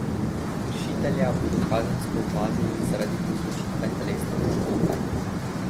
Kršitelja bodo kazensko ovadili zaradi povzročitve telesne poškodbe.